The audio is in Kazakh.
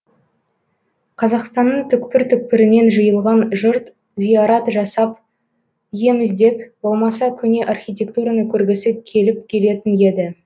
қазақстанның түкпір түкпірінен жиылған жұрт зиарат жасап ем іздеп болмаса көне архитектураны көргісі келіп келетін еді